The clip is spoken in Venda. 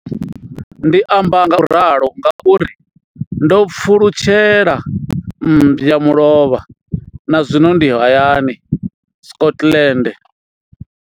Ndi amba ngauralo nga uri ndo pfulutshela mmba mulovha na zwino ndi hayani, Scotland.